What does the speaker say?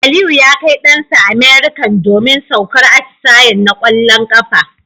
Aliyu ya Kai Dan sa American domin saukar atisayen na kwallon kafa